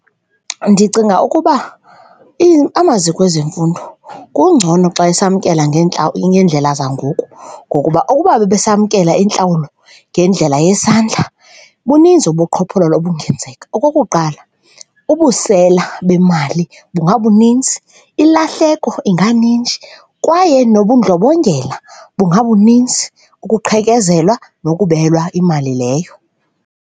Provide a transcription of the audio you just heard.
Ndicinga ukuba amaziko ezemfundo kungcono xa esamkela ngeendlela zangoku ngokuba ukuba bebesamkela intlawulo ngendlela yesandla buninzi ubuqhophololo obungenzeka. Okokuqala, ubusela bemali bungabuninzi, ilahleko inganinzi kwaye nobundlobongela bungabuninzi, ukuqhekezelwa nokubelwa imali leyo.